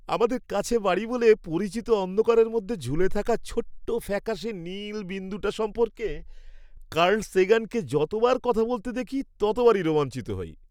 আমাদের কাছে বাড়ি বলে পরিচিত অন্ধকারের মধ্যে ঝুলে থাকা ছোট্ট ফ্যাকাশে নীল বিন্দুটা সম্পর্কে কার্ল সেগানকে যতবার কথা বলতে দেখি ততবারই রোমাঞ্চিত হই।